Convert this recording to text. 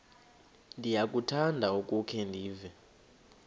ndiyakuthanda ukukhe ndive